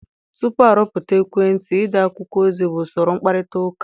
Tupu arụpụta ekwentị, ide akwụkwọ ozi bụ usoro mkparịta ụka.